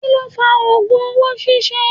Kí ló fa ogùn owó ṣíṣe?